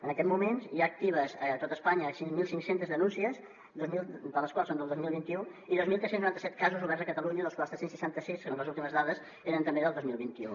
en aquest moments hi ha actives a tot espanya cinc mil cinc cents denúncies dos mil de les quals són del dos mil vint u i dos mil tres cents i noranta set casos oberts a catalunya dels quals tres cents i seixanta sis segons les últimes dades eren també del dos mil vint u